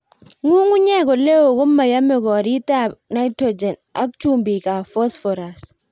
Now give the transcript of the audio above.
Ng'ung'unyek oleo komoyome koritab nitrogen ak chumbikab phosphorus.